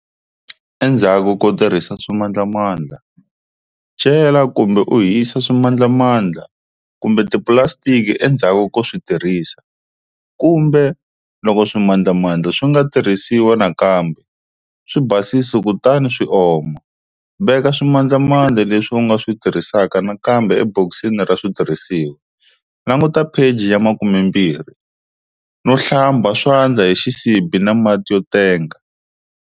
Endzaku ko tirhisa swimandlamandla-cela kumbe u hisa swimandlamandla kumbe tipulasitiki endzhaku ko swi tirhisa, kumbe, loko swimandlamandla swi nga tirhisiwa nakambe, swi basisi kutani swi oma, veka swimandlamandla leswi u nga swi tirhisaka nakambe ebokisini ra switirhisiwa, langutisa pheji 12, no hlamba swandla hi xisibi na mati yo tenga.